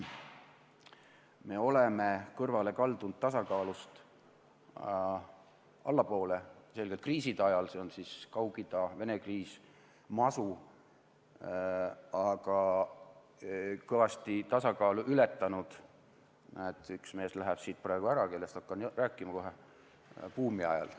Me oleme selgelt kaldunud tasakaalust allapoole kriiside ajal , aga kõvasti tasakaalutaset ületanud – näed, üks mees läheb siit praegu ära, kellest hakkan kohe rääkima – buumi ajal.